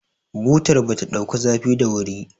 butar ba ta daukar zafi da wuri